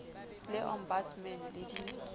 le ombudsman le fsb di